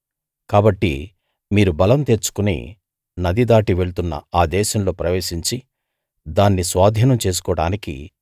కాబట్టి మీరు బలం తెచ్చుకుని నది దాటి వెళ్తున్న ఆ దేశంలో ప్రవేశించి దాన్ని స్వాధీనం చేసుకోడానికీ